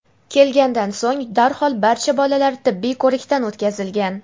kelgandan so‘ng darhol barcha bolalar tibbiy ko‘rikdan o‘tkazilgan.